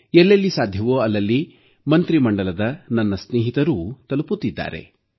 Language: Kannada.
ಎಲ್ಲೆಲ್ಲಿ ಸಾಧ್ಯವೋ ಅಲ್ಲಲ್ಲಿ ಮಂತ್ರಿಮಂಡಲದ ನನ್ನ ಸ್ನೇಹಿತರೂ ತಲುಪುತ್ತಿದ್ದಾರೆ